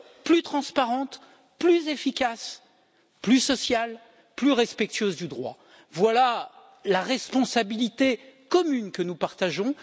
plus transparente, plus efficace, plus sociale, plus respectueuse du droit. Voilà la responsabilité commune que nous partageons.